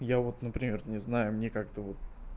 я вот например не знаю мне как-то вот